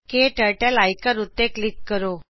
ਕਟਰਟਲ ਆਇਕਨ ਉੱਤੇ ਕਲਿਕ ਕਰੋ